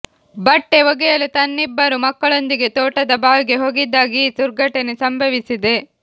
ಬಟ್ಟೆ ಒಗೆಯಲು ತನ್ನಿಬ್ಬರು ಮಕ್ಕಳೊಂದಿಗೆ ತೋಟದ ಬಾವಿಗೆ ಹೋಗಿದ್ದಾಗ ಈ ದುರ್ಘಟನೆ ಸಂಭವಿಸಿದೆ